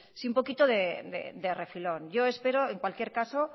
un poquito de refilón yo espero en cualquier caso